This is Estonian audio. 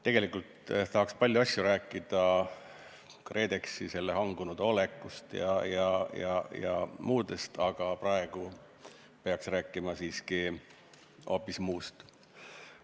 Tegelikult tahaks palju asju rääkida, näiteks KredExi hangunud olekust ja teisest asjadest, aga praegu peaks rääkima siiski hoopis muust.